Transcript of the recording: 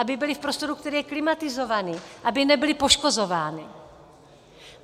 Aby byly v prostoru, který je klimatizovaný, aby nebyly poškozovány.